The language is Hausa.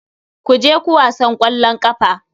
Ku je ku wasan ƙwallon ƙafa.